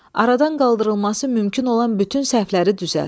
Aradan qaldırılması mümkün olan bütün səhvləri düzəlt.